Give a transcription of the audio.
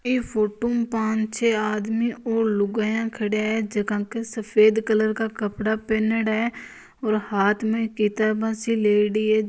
इस फोटो में पाच छ आदमी और लुगायाँ खड़ा हैबे सफेद कलर का कपड़ा पहरा है और हाथ में किताब सी लेयडी है।